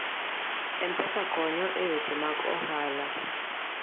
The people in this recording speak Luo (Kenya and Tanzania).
M-Pesa konyo e weche mag ohala.